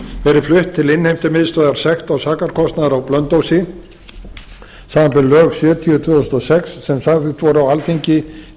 verið flutt til innheimtumiðstöðvar sekta og sakarkostnaðar á blönduósi samanber lög sjötíu tvö þúsund og sex sem samþykkt voru á alþingi í